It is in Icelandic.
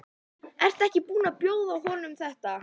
Ertu ekki búin að bjóða honum þetta?